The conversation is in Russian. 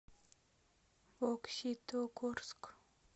бокситогорск